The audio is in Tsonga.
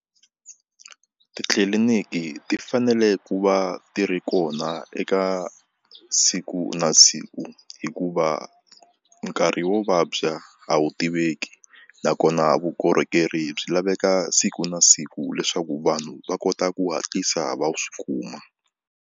Titliliniki ti fanele ku va ti ri kona eka siku na siku hikuva nkarhi wo vabya a wu tiveki nakona vukorhokeri byi laveka siku na siku leswaku vanhu va kota ku hatlisa va swi kuma.